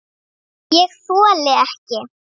ÉG ÞOLI EKKI